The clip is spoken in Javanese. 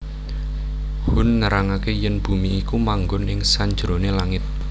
Hun nerangaké yèn bumi iku manggon ing sanjeroné langit